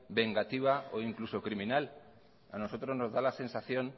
vengativa o incluso criminal a nosotros nos da la sensación